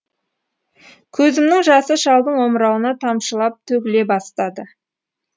көзімнің жасы шалдың омырауына тамшылап төгіле бастады